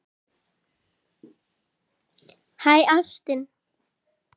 Hæ, ástin.